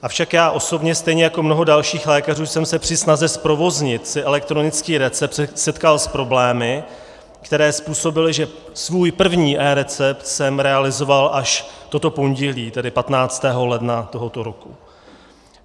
Avšak já osobně, stejně jako mnoho dalších lékařů jsem se při snaze zprovoznit si elektronický recept setkal s problémy, které způsobily, že svůj první eRecept jsem realizoval až toto pondělí, tedy 15. ledna tohoto roku.